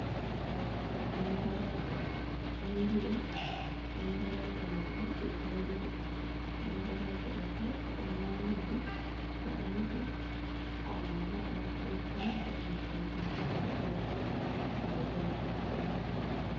Mangorooje ɓenduɗe, mangorooje maajum ɗe jewee ɗiɗi, mangorooje ɗo bo ɓe ɗo nyama ɗum, to a yidi a waɗan furut ɓo bee maajum, to a hauti be kare belɗum feere haa nder.